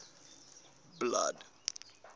blood